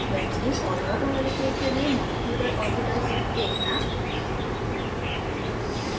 benzene और water molecule के लिए मॉलिक्यूलर ऑर्बिटल्स देखना